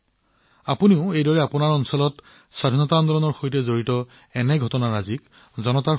একেদৰে আপোনালোকে আপোনালোকৰ চহৰ গাওঁবোৰত স্বাধীনতাৰ আন্দোলনৰ অনন্য দিশবোৰ কঢ়িয়াই আনিব পাৰে